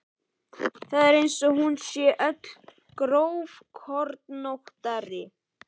Það er eins og hún sé öll grófkornóttari.